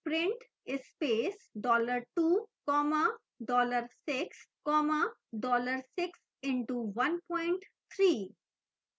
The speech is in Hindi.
print space dollar 2 comma dollar 6 comma dollar 6 into 13